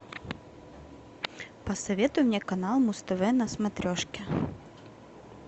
посоветуй мне канал муз тв на смотрешке